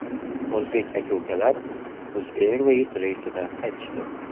O‘zbek aka-ukalar UzAirways reysida qaytishdi.